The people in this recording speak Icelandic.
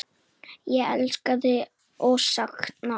Ég elska þig og sakna.